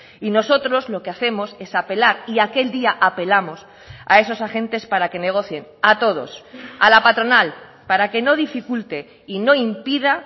y nosotros lo que hacemos es apelar y aquel día apelamos a esos agentes para que negocien a todos a la patronal para que no dificulte y no impida